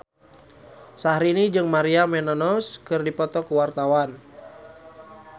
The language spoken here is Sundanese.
Syahrini jeung Maria Menounos keur dipoto ku wartawan